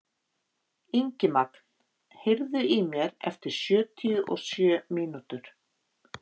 Ingimagn, heyrðu í mér eftir sjötíu og sjö mínútur.